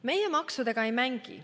Meie maksudega ei mängi.